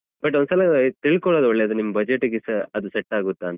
But ಒಂದ್ಸಲ ತಿಳ್ಕೊಳೋದು ಒಳ್ಳೆದು ನಿಮ್ budget ಗೆ ಸ ಅದು set ಆಗುತ್ತಾ ಅಂತ.